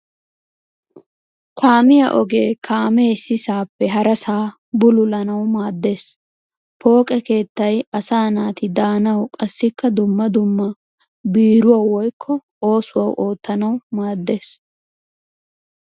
Kaamiya ogee kaamee issisaappe harasaa bululanawu maaddes. Pooqe keettay asaa naati daanawu qassikka dumma dumma biiruwawu woyikko oosuwa oottanawu maaddes.